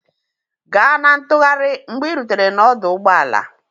Ga na ntụgharị mgbe ị rutere n'ọdụ ụgbọ ala